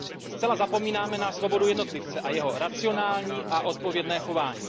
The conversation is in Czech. Zcela zapomínáme na svobodu jednotlivce a jeho racionální a odpovědné chování.